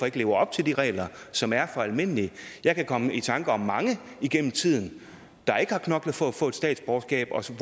leve op til de regler som er for almindelige jeg kan komme i tanker om mange igennem tiden der ikke har knoklet for at få et statsborgerskab og som